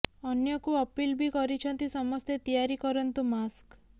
ଅନ୍ୟଙ୍କୁ ଅପିଲ ବି କରିଛନ୍ତି ସମସ୍ତେ ତିଆରି କରନ୍ତୁ ମାସ୍କ